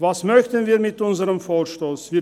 Was möchten wir mit unserem Vorstoss erreichen?